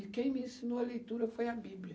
E quem me ensinou a leitura foi a Bíblia.